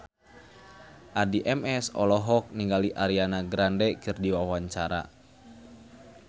Addie MS olohok ningali Ariana Grande keur diwawancara